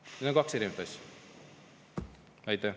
Need on kaks erinevat asja.